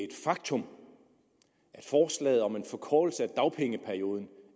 et faktum at forslaget om en forkortelse af dagpengeperioden